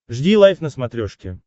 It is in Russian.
жди лайв на смотрешке